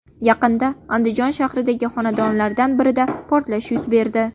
Yaqinda Andijon shahridagi xonadonlardan birida portlash yuz berdi.